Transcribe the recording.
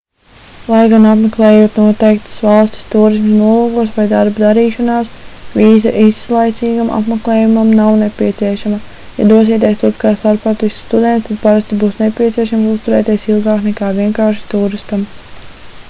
lai gan apmeklējot noteiktas valstis tūrisma nolūkos vai darba darīšanās vīza īslaicīgam apmeklējumam nav nepieciešama ja dosieties turp kā starptautisks students tad parasti būs nepieciešams uzturēties ilgāk nekā vienkārši tūristam